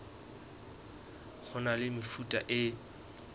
ho na le mefuta e